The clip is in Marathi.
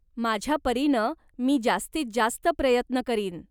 माझ्यापरीनं मी जास्तीत जास्त प्रयत्न करीन.